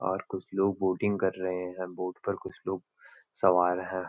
और कुछ लोग बोटिंग कर रहें हैं बोट पर कुछ लोग सवार हैं।